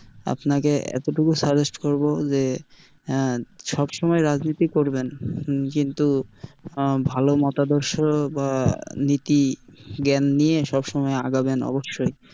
আপনাকে এত টুকু suggest যে আহ সব সময় রাজনীতি করবেন কিন্তু আহ ভালো মতাদর্শ বা নীতি জ্ঞান নিয়ে সবসময় আগাবেন অবশ্যই।